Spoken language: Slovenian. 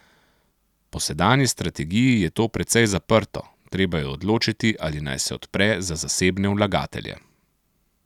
Po sedanji strategiji je to precej zaprto, treba je odločiti, ali naj se odpre za zasebne vlagatelje.